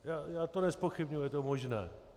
Já to nezpochybňuji, je to možné.